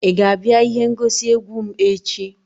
Ị ga-abịa ihe ngosi egwu m echi?